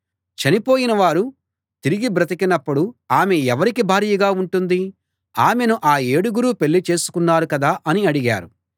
చనిపోయిన వారు తిరిగి బ్రతికినపుడు ఆమె ఎవరి భార్యగా ఉంటుంది ఆమెను ఆ ఏడుగురూ పెళ్ళి చేసుకున్నారు కదా అని అడిగారు